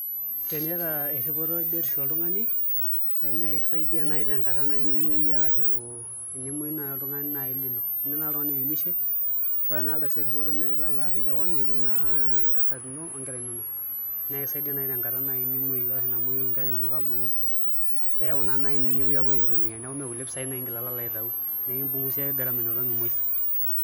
Tenipik eripoto ebiotisho oltung'ani naa kisaidia naai tenkata nimuoi iyie arashu enemuoyu naai oltung'ani naai lino enira naai oltung'ani oemishe ore ena ardasi erripoto naa ilo naa alo apik keon nipik entasat ino onkera inonok naa kakaisaidia naai tenkata nimuoyu arashu namuoyu nkera inonok amu eeku naa naai ninye epuoi aitumia neeku mee kulie pisaai naai ingila alo aitau, nikimpungusiaki gharama ina olong' imuoi.